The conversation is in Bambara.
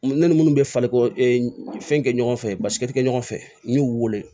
Ne ni minnu bɛ fali fɛn kɛ ɲɔgɔn fɛ basi tɛ ɲɔgɔn fɛ n y'u wele